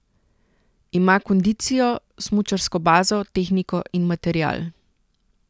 Ima kondicijo, smučarsko bazo, tehniko in material.